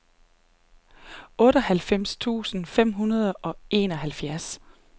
otteoghalvfems tusind fem hundrede og enoghalvfjerds